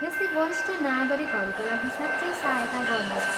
यसले वरिष्ठ नागरिकहरूका लागि साँच्चै सहायता गर्नेछ।